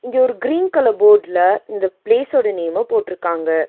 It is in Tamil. இங்க ஒரு கிரீன் கலர் போர்டுல இந்த பிளேஸ் ஓட நேம் போட்ருக்காங்க.